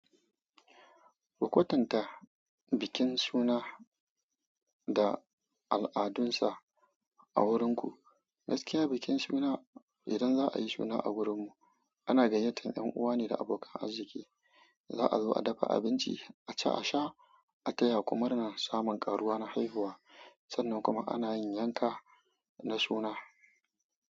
Ku kwatanta bikin suna da al'adunsa a wurinku. Gaskiya bikin suna idan za'a yi suna a wurin mu, ana gayyatar yan uwa ne da abokan arziki. Za'a zo a dafa abinci, a ci a sha, a taya ku murna samun ƙaruwa na haihuwa. Sannan kuma ana yin yanka na suna.